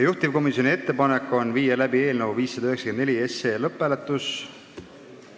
Juhtivkomisjoni ettepanek on panna eelnõu 594 lõpphääletusele.